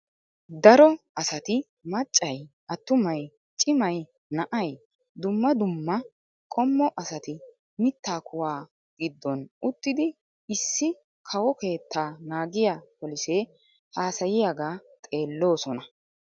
Daro asati maccay attumay cimay na"ay dumma dumma qommo asati mittaa kuwaa giddon uttidi issi kawo keetta naagiyaa polisee haasayiyagaa xeelloosona.